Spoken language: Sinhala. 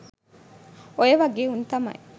ඔය වගෙ උන් තමයි